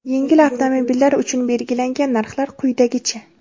yengil avtomobillar uchun belgilangan narxlar quyidagicha:.